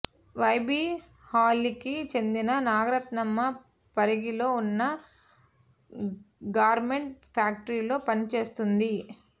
YB హళ్ళికి చెందిన నాగరత్నమ్మ పరిగిలో ఉన్న గార్మెంట్ ఫ్యాక్టరీలో పనిచేస్తోంది